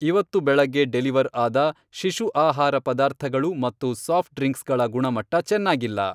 ಇವತ್ತು ಬೆಳಗ್ಗೆ ಡೆಲಿವರ್ ಆದ ಶಿಶು ಆಹಾರ ಪದಾರ್ಥಗಳು ಮತ್ತು ಸಾಫ್ಟ್ ಡ್ರಿಂಕ್ಸ್ಗಳ ಗುಣಮಟ್ಟ ಚೆನ್ನಾಗಿಲ್ಲ.